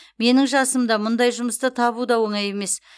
менің жасымда мұндай жұмысты табу да оңай емес